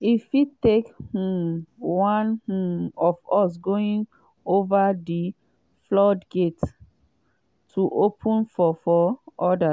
“e fit take um one um of us going ova for di floodgates to open for for odas.”